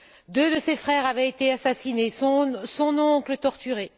Deux de ses frères avaient été assassinés, son oncle torturé.